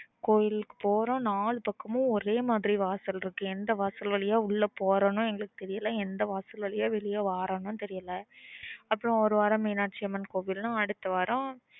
கோவிலுக்கு போரோ நாலு பக்கமா ஒரே மாதிரி வாசல் இருக்கு எந்த வாசல் வழிய உள்ள போரோமனோ எங்களுக்கு தெரியல எந்த வாசல் வழிய வெளியே வறேனோ தெரியல அப்ரோ ஒரு வாரோ மீனாட்சியம்மன் கோவில்னா அடுத்த வரம்